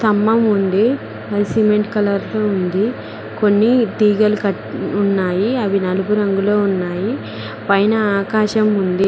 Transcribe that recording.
స్తంభం ఉంది cement colour లో ఉంది కొన్ని తీగలు కనిపిస్తున్నాయి అవి నలుపు రంగులో ఉన్నాయి పైన ఆకాశం ఉంది.